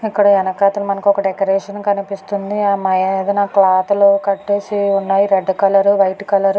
ఇక్కడ వెనకాతల ఒక డెకరేషన్ కనిపిస్తుంది. ఆ మీదన క్లాత్లు కట్టేసి ఉన్నాయి. Red colour white colour .